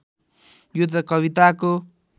यो त कविताको